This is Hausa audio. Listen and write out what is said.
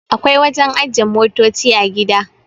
akwai wajen ajiye motoci a gida